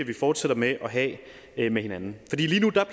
vi fortsætter med at have med hinanden